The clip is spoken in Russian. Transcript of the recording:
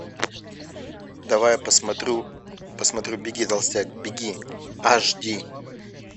давай я посмотрю беги толстяк беги аш ди